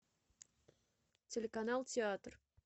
телеканал театр